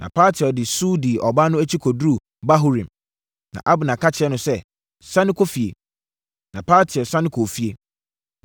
Na Paltiel de su dii ɔbaa no akyi kɔduruu Bahurim. Na Abner ka kyerɛɛ no sɛ, “Sane kɔ efie.” Na Paltiel sane kɔɔ efie.